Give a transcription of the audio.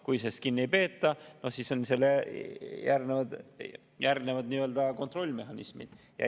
Kui kinni ei peeta, siis järgnevad kontrollimehhanismid.